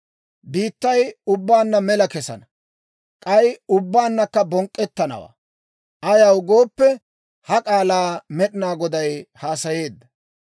Biittay ubbaanna mela kesana; k'ay ubbaannakka bonk'k'ettanawaa. Ayaw gooppe, ha k'aalaa Med'inaa Goday haasayeedda.